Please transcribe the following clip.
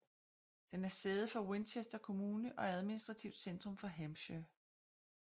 Den er sæde for Winchester kommune og administrativt centrum for Hampshire